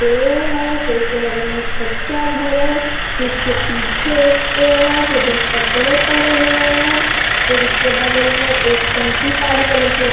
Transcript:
पेड़ है फिर उसके बगल में कच्चा घर है फिर उसके पीछे एक पेड़ है फिर उधर कपड़े पड़े हुवे हैं फिर उसकी बगल में एक टंकी काली कलर की --